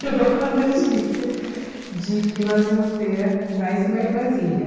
Chegou com a notícia de que nós íamos ter mais uma irmãzinha.